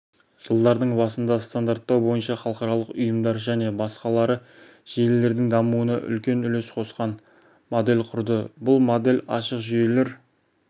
жылдардың басында стандарттау бойынша халықаралық ұйымдар және басқалары желілердің дамуына үлкен үлес қосқан модель құрды бұл модель ашық жүйелер